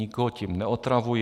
Nikoho tím neotravuji.